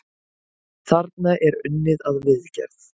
Þarna er unnið að viðgerð.